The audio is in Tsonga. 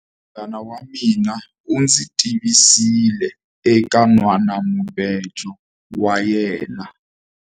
Munghana wa mina u ndzi tivisile eka nhwanamubejo wa yena.